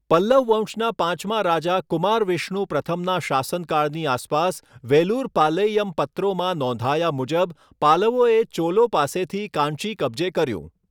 પલ્લવ વંશના પાંચમા રાજા કુમારવિષ્ણુ પ્રથમના શાસનકાળની આસપાસ વેલુરપાલૈયમ પત્રોમાં નોંધાયા મુજબ પાલવોએ ચોલો પાસેથી કાંચી કબજે કર્યું.